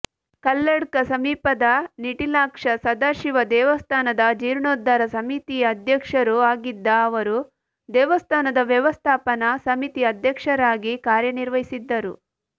ಕಲ್ಲಡ್ಕ ಸಮೀಪದ ನಿಟಿಲಾಕ್ಷ ಸದಾಶಿವ ದೇವಸ್ಥಾನದ ಜೀರ್ಣೋದ್ಧಾರ ಸಮಿತಿಯ ಅಧ್ಯಕ್ಷರೂ ಆಗಿದ್ದ ಅವರು ದೇವಸ್ಥಾನದ ವ್ಯವಸ್ಥಾಪನಾ ಸಮಿತಿ ಅಧ್ಯಕ್ಷರಾಗಿ ಕಾರ್ಯನಿರ್ವಹಿಸಿದ್ದರು